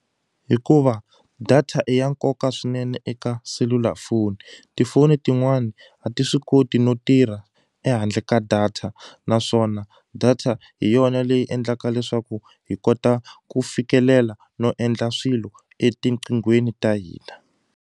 Hikuva data i ya nkoka swinene eka selulafoni tifoni tin'wani a ti swi koti no tirha ehandle ka data naswona data hi yona leyi endlaka leswaku hi kota ku fikelela no endla swilo etiqinghweni ta hina.